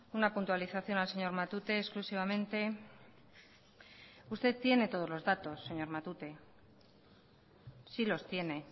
una puntualización al señor matute exclusivamente usted tiene todos los datos señor matute sí los tiene